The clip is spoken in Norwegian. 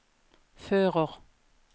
fører